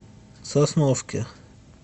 сосновке